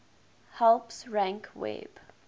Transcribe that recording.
helps rank web